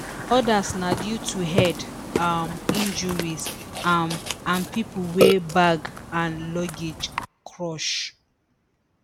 odas na due to head um injuries um and pipo wey bag and luggage crush